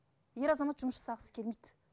ер азамат жұмыс жасағысы келмейді